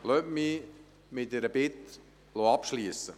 Lassen Sie mich mit einer Bitte abschliessen: